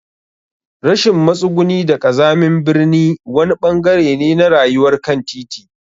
Rashin matsuguni da ƙazamin birni wani ɓangare ne na rayuwar kantiti.